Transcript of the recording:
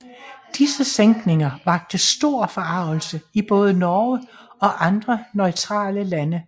Disse sænkninger vakte stor forargelse i både Norge og andre neutrale lande